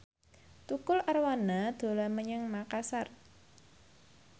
Tukul Arwana dolan menyang Makasar